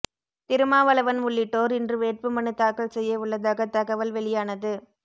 திருமாவளவன் உள்ளிட்டோர் இன்று வேட்புமனு தாக்கல் செய்ய உள்ளதாக தகவல் வெளியானது